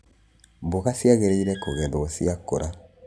Mboga ciagĩrĩirwo kũgethwo ciakũra.